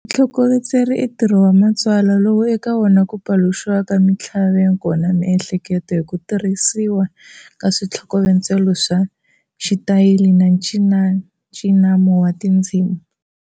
Vutlhokovetseri I ntirho wa matsalwa lowu eka wona ku paluxiwaka mintlhaveko na miehleketo hi ku tirhisiwa ka switlhokovetselo swa xitayili na ncinancinano wa tindzimi.